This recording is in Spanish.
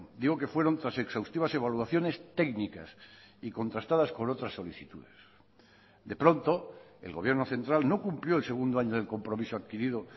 digo que fueron tras exhaustivas evaluaciones técnicas y contrastadas con otras solicitudes de pronto el gobierno central no cumplió el segundo año del compromiso adquirido